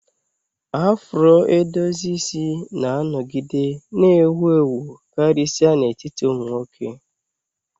Afro edozi isi na-anọgide na-ewu ewu, karịsịa n'etiti ụmụ nwoke.